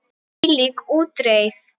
Hvílík útreið!